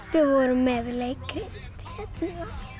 við vorum með leikrit hérna